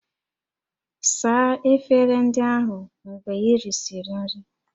Saa efere ndị ahụ mgbe ị risịrị nri!